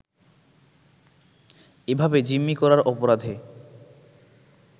এভাবে জিম্মি করার অপরাধে